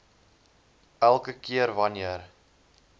elke keer wanneer